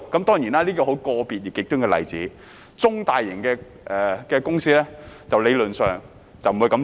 當然，這是個別極端的例子，中大型的公司理論上不會這樣做。